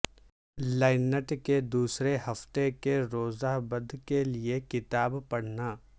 لیننٹ کے دوسرے ہفتے کے روزہ بدھ کے لئے کتاب پڑھنا